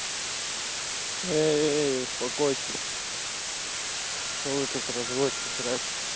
эй успокойтесь что вы тут разводите срачь